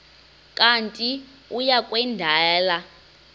kanti uia kwendela